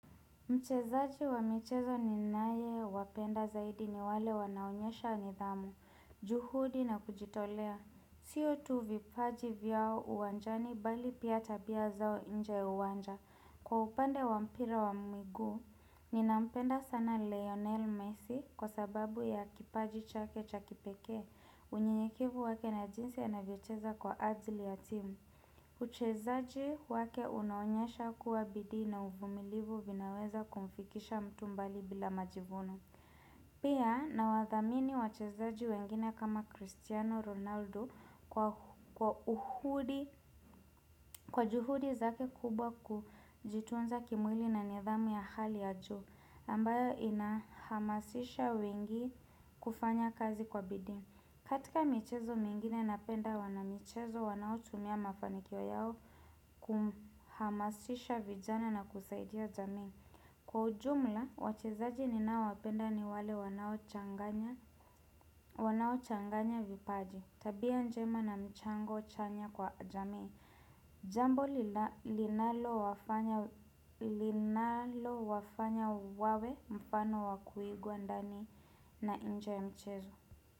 Mchezaji wa michezo ninaye wapenda zaidi ni wale wanaonyesha nidhamu, juhudi na kujitolea. Sio tu vipaji vyao uwanjani bali pia tabia zao nje uwanja. Kwa upande wa mpira wa mguu, ninampenda sana Leonel Messi kwa sababu ya kipaji chake cha kipekee. Unyenyekivu wake na jinsi anavyocheza kwa ajili ya timu. Uchezaji wake unaonyesha kuwa bidii na uvumilivu vinaweza kumfikisha mtu mbali bila majivuno Pia nawadhamini wachezaji wengine kama Cristiano Ronaldo kwa juhudi zake kubwa kujitunza kimwili na nidhamu ya hali ya juu ambayo inahamasisha wengi kufanya kazi kwa bidii katika michezo mingine napenda wanamichezo wanaotumia mafanikio yao kuhamasisha vijana na kusaidia jamii. Kwa ujumla, wachezaji ninaowapenda ni wale wanao changanya vipaji. Tabia njema na mchango chanya kwa jamii. Jambo linalowafanya wawe mfano wakuigwa ndani na nje ya mchezo.